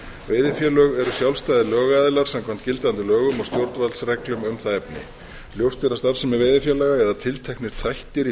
veiðifélög eru sjálfstæðir lögaðilar samkvæmt gildandi lögum og stjórnvaldsreglum um það efni ljóst er að starfsemi veiðifélaga eða tilteknir þættir í